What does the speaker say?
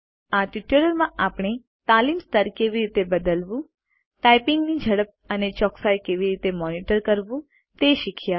આ ટ્યુટોરીયલ માં આપણે તાલીમ સ્તર કેવી રીતે બદલવું ટાઈપીંગ ની ઝડપ અને ચોકસાઈ કેવી રીતે મોનીટર કરવું તે શીખ્યા